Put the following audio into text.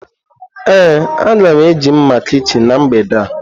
Ee, a ga m eji mma kichin na mgbede a.